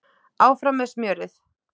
Áfram með smjörið.